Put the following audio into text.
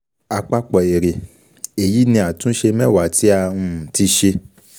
Àpapọ̀ èrè, èyí ni àtúnṣe mẹwa tí a um ti um ṣe.